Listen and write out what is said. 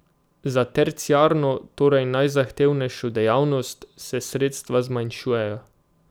Za terciarno, torej najzahtevnejšo dejavnost, se sredstva zmanjšujejo.